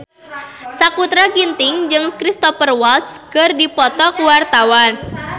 Sakutra Ginting jeung Cristhoper Waltz keur dipoto ku wartawan